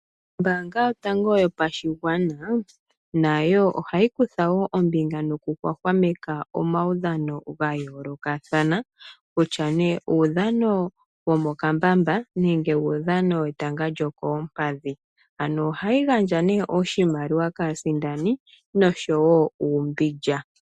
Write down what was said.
Ombaanga yotango yopashigwana, nayo ohayi kutha wo ombinga nokuhwahwameka omaudhano ga yoolokathana. Kutya nee uudhano womokambamba, nenge uudhano wetanga wokoompadhi. Ano ohayi gandja ne oshimaliwa kaasindani, nosho wo uumbindja.